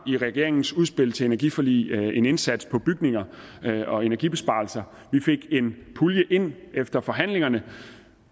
i regeringens udspil til et energiforlig var en indsats for bygninger og energibesparelser vi fik en pulje ind efter forhandlingerne